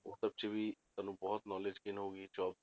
ਉਹ ਸਭ 'ਚ ਵੀ ਤੁਹਾਨੂੰ ਬਹੁਤ knowledge gain ਹੋਊਗੀ job